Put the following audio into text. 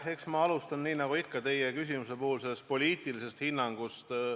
Eks ma alustan – nii nagu teie küsimuse puhul ikka – sellest poliitilisest hinnangust.